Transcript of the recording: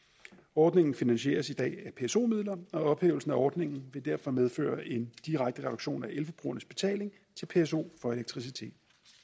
ordningen finansieres i dag af pso midler og ophævelsen af ordningen vil derfor medføre en direkte reduktion af elforbrugernes betaling til pso for elektricitet